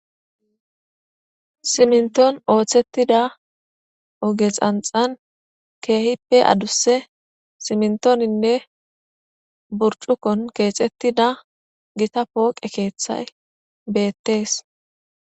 Simnton ooththettida ogexanxan keehippe adusse simntoninne burcukon keexettida gita pooqe keeththay beettees.